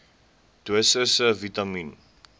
dosisse vitamien